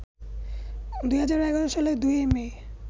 ২০১১ সালের ২ মে